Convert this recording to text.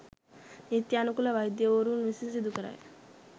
නීත්‍යනුකූල වෛද්‍යවරුන් විසින් සිදු කරයි.